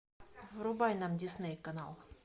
врубай нам дисней канал